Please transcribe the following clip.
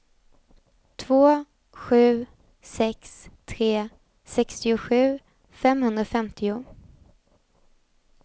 två sju sex tre sextiosju femhundrafemtio